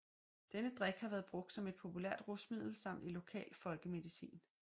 Denne drik har været brugt som et populært rusmiddel samt i lokal folkemedicin